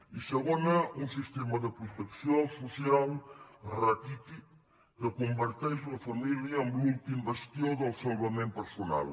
i segona un sistema de protecció social raquític que converteix la família en l’últim bastió del salvament personal